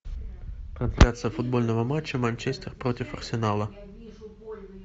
трансляция футбольного матча манчестер против арсенала